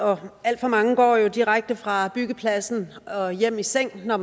og alt for mange går jo direkte fra byggepladsen og hjem i seng når